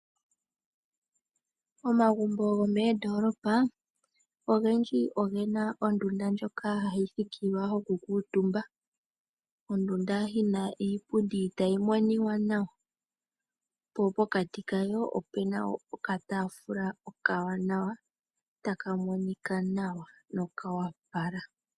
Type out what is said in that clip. Omagumbo gomoondoolopa ogendji ogena ondunda ndjoka hayi thikilwa yoku kuutumba. Ondunda yina iipundi tayi monika nawa poo pokati kayo opena okataafula okawanawa taka monika nawa no kawapala